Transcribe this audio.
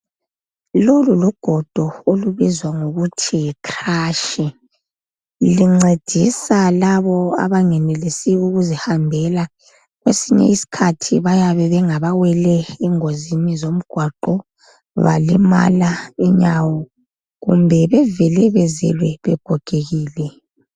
Lolu lugodo olubizwa ngokuthi yikhrashi. Luncedisa labo abangenelisiyo ukuzihambela. Kwesinye isikhathi bayabe bengabawele engozini zomgwaqo balimala inyawo kumbe bevele bezelwe begogekile.